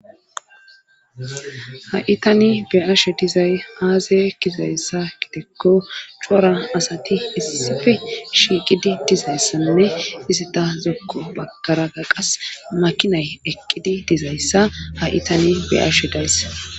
Ha itani be ashe dizay aaze kizayssa gidekko cora asati issife shiiqidi dizayssanne isi ta zokko bagkaraga qas makinay eqqidi dizayssa ha itani beashe daysse.